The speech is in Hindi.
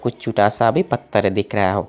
और छोटा सा भी पत्थर दिख रहा है।